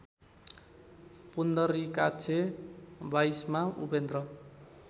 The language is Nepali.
पुन्दरिकाछ्य बाईसमा उपेन्द्र